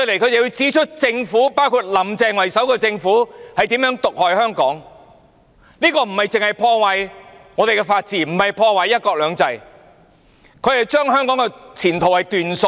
他們便是要指出以"林鄭"為首的政府是如何毒害香港，這不單是破壞香港的法治和"一國兩制"，而是把香港的前途斷送。